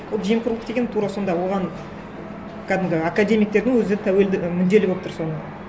ол жемқорлық деген тура сонда оған кәдімгі академиктердің өзі тәуелді мүдделі болып тұр соған